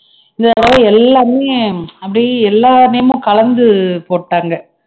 இதனால எல்லாமே அப்படியே எல்லா name ம் கலந்து போட்டாங்க